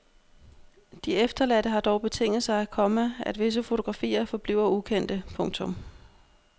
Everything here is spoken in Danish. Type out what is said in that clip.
De efterladte har dog betinget sig, komma at visse fotografier forbliver ukendte. punktum